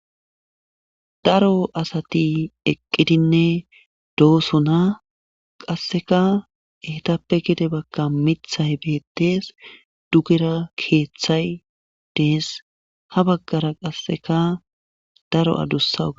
daro asati eqqidinne doosona qasseka eetappe gede bagan mithay beettees dugera keeththay dees ha baggara qasseka daro adussa ua